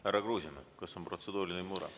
Härra Kruusimäe, kas on protseduuriline mure?